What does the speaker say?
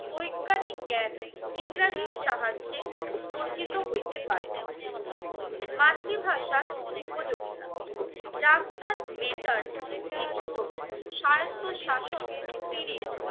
বৈজ্ঞানিক জ্ঞান ইংরেজির সাহায্যে অর্জিত হইতে পারে। মাতৃভাষার উপযোগিতা ডাক্তার মেটার লিখিত সাহিত্য শাসন সিরিজ